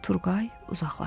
Turqay uzaqlaşdı.